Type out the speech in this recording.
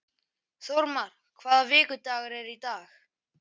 Þórmar, hvaða vikudagur er í dag?